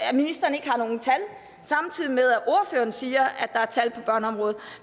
at ministeren ikke har nogen tal samtidig med at ordføreren siger at der er tal børneområdet